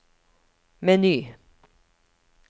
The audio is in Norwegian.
meny